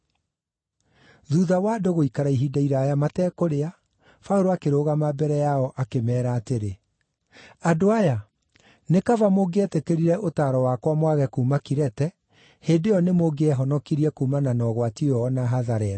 Thuutha wa andũ gũikara ihinda iraaya matekũrĩa, Paũlũ akĩrũgama mbere yao akĩmeera atĩrĩ: “Andũ aya, nĩ kaba mũngĩetĩkĩrire ũtaaro wakwa mwage kuuma Kirete, hĩndĩ ĩyo nĩmũngĩehonokirie kuumana na ũgwati ũyũ o na hathara ĩno.